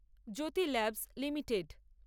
Jyoti labs limited